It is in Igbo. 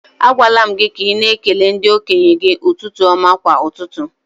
A gwaala m gị ka ị na ekele ndi-okenye gi ụtụtụ ọma kwa ụtụtụ